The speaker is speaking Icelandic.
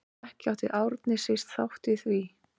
Ekki átti Árni síst þátt í því.